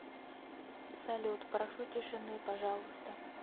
салют прошу тишины пожалуйста